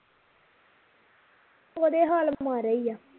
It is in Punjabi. ਉਹਦੇ ਹਾਲ ਮਾੜੇ ਈ ਆ